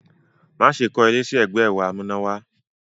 Má ṣe kọ́ ilé sí ẹgbẹ́ ẹ̀rọ amúnáwá!